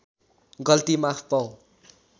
गल्ती माफ पाऊँ